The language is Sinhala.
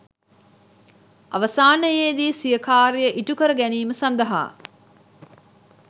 අවසානයේදී සිය කාර්ය ඉටු කර ගැනීම සඳහා